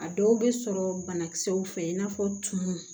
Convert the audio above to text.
A dɔw bɛ sɔrɔ banakisɛw fɛ i n'a fɔ tumu